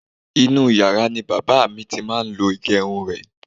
Inú u yàrá ni bàbá à mi ti máa ń lo ìgẹrun rẹ̀.